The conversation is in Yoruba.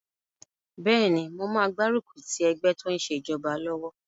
Bẹ́ẹ̀ni, mo máa gbárùkù ti ẹgbẹ́ tó n ṣe ìjọba lọ́wọ́